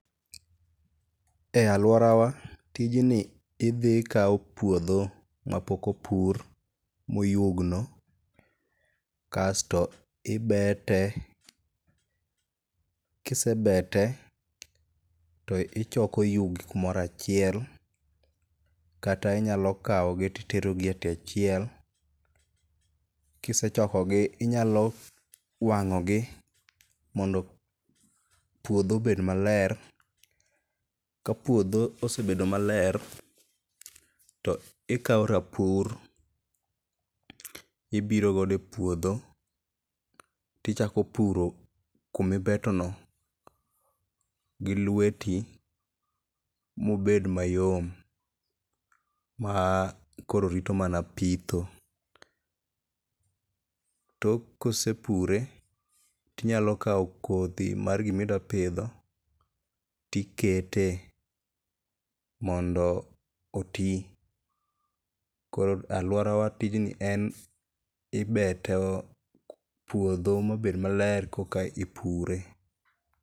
E alworawa, tijni idhi ikawo puodho mapok opur moyugno kasto ibete. Kisebete to ichoko yugi kumoro achiel, kata i nyalo kawogi titerogi e tie chiel. Kisechokogi inyalo wang'ogi mondo puodho obed maler. Ka puodho osebedo maler, to ikawo rapur ibirogodo e puodho tichako puro kumibetono gi lweti moded mayom ma koro rito mana pitho. Tok kosepure tinyalo kawo kodhi mar gimidwapidho tikete mondo oti. Koro alworawa tijni en ibeto puodho mabed maler korka ipure.